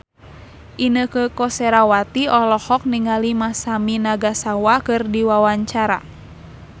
Inneke Koesherawati olohok ningali Masami Nagasawa keur diwawancara